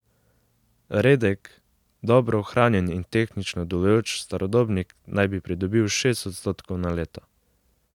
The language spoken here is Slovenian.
Redek, dobro ohranjen in tehnično delujoč starodobnik naj bi pridobil šest odstotkov na leto.